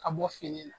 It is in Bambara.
Ka bɔ fini na